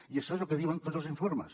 i això és el que diuen tots els informes